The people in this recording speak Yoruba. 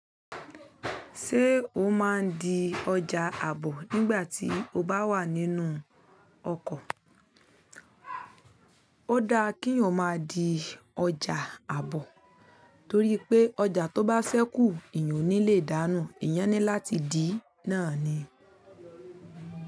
Ṣé o máa ń di ọjà àbọ̀ nígbà tí o bá wà nínú ọkọ̀? Ó dá kí o má di ọjà àbọ̀ torí pé ọjà tó bá sẹ́kù, ìyọ́ ní lè dáná. Ìyá ni láti dì náà ni.